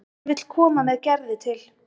Hann vill koma með Gerði til